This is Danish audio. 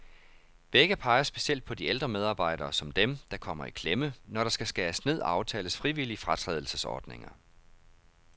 Begge peger specielt på de ældre medarbejdere, som dem, der kommer i klemme, når der skal skæres ned og aftales frivillige fratrædelsesordninger.